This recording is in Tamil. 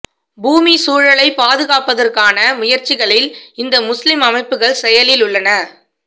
பூமி சூழலைப் பாதுகாப்பதற்கான முயற்சிகளில் இந்த முஸ்லீம் அமைப்புகள் செயலில் உள்ளன